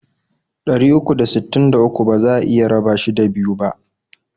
Ɗari uku da sittin da uku baza a iya raba shi da biyu bah.